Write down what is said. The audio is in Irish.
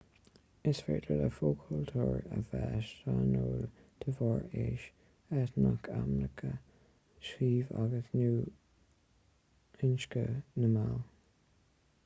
is féidir le fo-chultúir a bheith sainiúil de bharr aois eitneacht aicme suíomh agus/nó inscne na mball